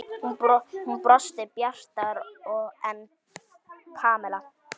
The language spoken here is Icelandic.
Hún brosti bjartar en Pamela.